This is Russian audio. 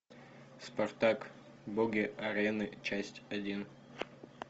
спартак боги арены часть один